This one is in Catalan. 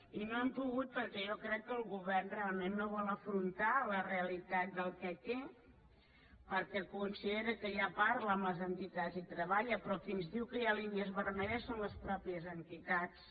i no hem pogut perquè jo crec que el govern realment no vol afrontar la realitat del que té perquè considera que ja parla amb les entitats i hi treballa però qui ens diu que hi ha línies vermelles són les mateixes entitats